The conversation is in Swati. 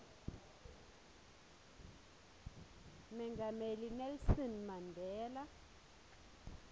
mengameli nelson mandela